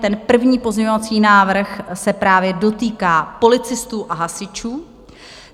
Ten první pozměňovací návrh se právě dotýká policistů a hasičů.